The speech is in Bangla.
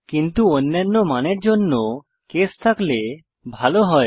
কিন্তু আমাদের কাছে অন্যান্য মানের জন্য কেস থাকলে ভালো হয়